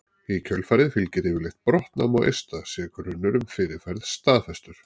Í kjölfarið fylgir yfirleitt brottnám á eista sé grunur um fyrirferð staðfestur.